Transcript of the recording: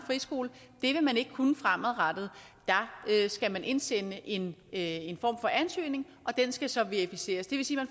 friskole det vil man ikke kunne fremadrettet der skal man indsende en en form for ansøgning og den skal så verificeres det vil sige at